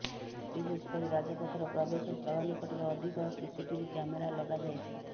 ବିଶେଷ କରି ରାଜପଥର ପ୍ରବେଶ ସ୍ଥଳ ନିକଟରେ ଅଧିକ ସିସିଟିଭି କ୍ୟାମେରା ଲଗାଯାଇଛି